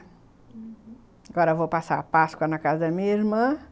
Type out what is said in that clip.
Uhum... Agora eu vou passar a páscoa na casa da minha irmã,